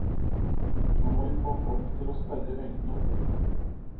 Nå må vi få folk til å sperre øynene opp.